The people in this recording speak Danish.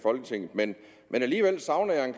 folketinget men alligevel savner jeg en